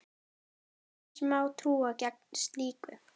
Hvers má trú gegn slíku?